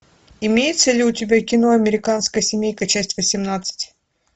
имеется ли у тебя кино американская семейка часть восемнадцать